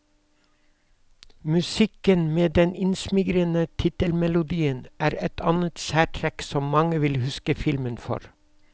Musikken, med den innsmigrende tittelmelodien, er et annet særtrekk som mange vil huske filmen for.